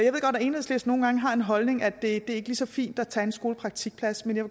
enhedslisten nogle gange har den holdning at det ikke er lige så fint at tage en skolepraktikplads men jeg